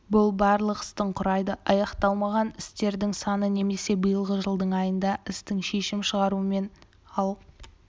бұл барлық істің құрайды аяқталмаған істердің саны немесе биылғы жылдың айында істің шешім шығарумен ал